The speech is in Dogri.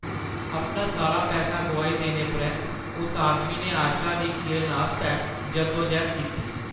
अपना सारा पैसा गोआई देने परैंत्त उस आदमी ने आशा दी इक किरण आस्तै जद्दो-जैह्‌द कीती।